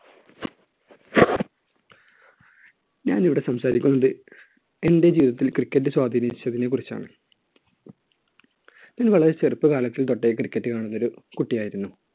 ഞാൻ ഇവിടെ സംസാരിക്കുന്നത് എന്‍റെ ജീവിതത്തിൽ cricket സ്വാധീനിച്ചതിനെക്കുറിച്ചാണ്. ഞാൻ വളരെ ചെറുപ്പകാലം തൊട്ടേ cricket കളിക്കുന്ന ഒരു കുട്ടി ആയിരുന്നു.